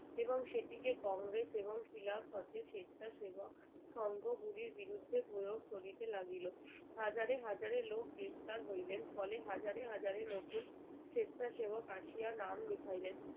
এবং সেটিকে কংগ্রেস এবং খিলাফত এর স্বেচ্ছাসেবক সংঘ গুলির বিরুদ্ধে প্রয়োগ করিতে লাগিল হাজারে হাজারে লোক গ্রেপ্তার হইলেন ফলে হাজারে হাজারে নতুন স্বেচ্ছাসেবক আসিয়া নাম লিখাইলেন